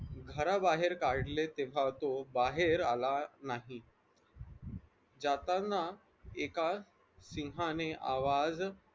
घराबाहेर काढले तेव्हा तो बाहेर आला नाही जाताना एका सिंहाने आवाज